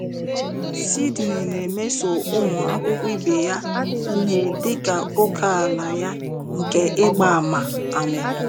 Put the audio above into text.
Sydnee na-emeso ụmụ akwụkwọ ibe ya ihe dị ka ókèala ya nke ịgba àmà. àmà.